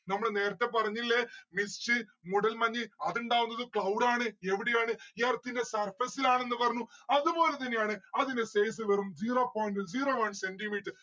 നമ്മള് നേരത്തെ പറഞ്ഞില്ലേ mist മൂടല്മഞ് അതുണ്ടാവുന്നത് cloud ആണ്. യെവിടെയാണ് earth ന്റെ surface ഇലാണെന്ന് പറഞ്ഞു അതുപോലെതന്നെയാണ് അതിന്റെ size വെറും zero point zero one centi metre